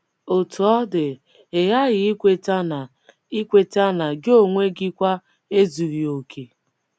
Otú ọ dị, ị ghaghị ikweta na ikweta na gị onwe gị kwa ezughị okè.